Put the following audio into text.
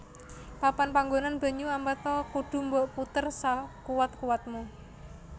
Papan panggonan banyu Amerta kudu mbok puter sakuwat kuwatmu